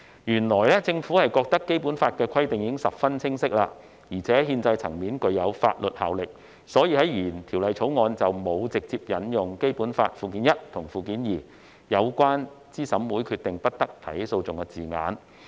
原本政府認為《基本法》的規定已十分清晰，並在憲制層面具有法律效力，因此在原《條例草案》中，沒有直接引用《基本法》附件一和附件二有關對資審會的決定不得提起訴訟的字眼。